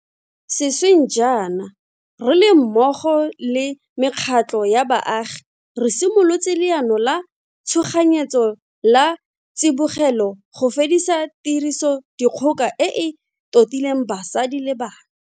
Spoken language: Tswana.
Sešweng jaana, re le mmogo le mekgatlho ya baagi, re simolotse leano la tshoganyetso la tsibogelo go fedisa tirisodikgoka e e totileng basadi le bana.